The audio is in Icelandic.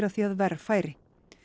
því að verr færi